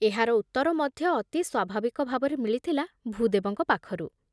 ଏହାର ଉତ୍ତର ମଧ୍ୟ ଅତି ସ୍ବାଭାବିକ ଭାବରେ ମିଳିଥିଲା ଭୂଦେବଙ୍କ ପାଖରୁ ।